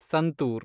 santoor